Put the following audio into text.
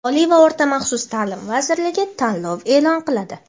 Oliy va o‘rta maxsus taʼlim vazirligi tanlov eʼlon qiladi!.